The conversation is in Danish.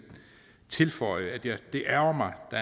tilføje at det ærgrer mig at